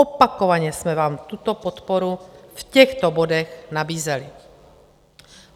Opakovaně jsme vám tuto podporu v těchto bodech nabízeli.